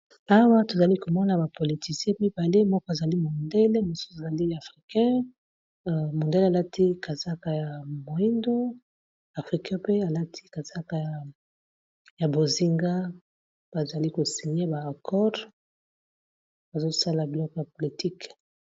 Awa tozali komona ba politicien mibale moko ezali mondele mosusu ezali africain mondele alati kazaka ya moyindo afrikain pe alati kazaka ya bozinga bazali ko singer ba accor bazosala biloko ya politike.